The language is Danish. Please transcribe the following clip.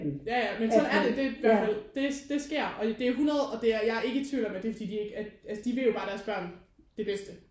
Ja ja men sådan er det det er i hvert fald det det sker og det er 100 og det er jeg er ikke i tvivl om at det er fordi de ikke at at altså de vil jo bare deres børn det bedste